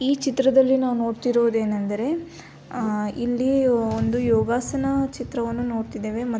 ಈ ಚಿತ್ರದಲ್ಲಿ ನಾವು ನೋಡ್ತಿರೋದು ಏನಂದರೆ ಇಲ್ಲಿ ಒಂದು ಯೋಗಾಸನ ಚಿತ್ರವನ್ನ ನೋಡ್ತಿದ್ದೇವೆ ಮತ್ತು --